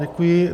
Děkuji.